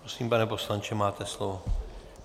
Prosím, pane poslanče, máte slovo.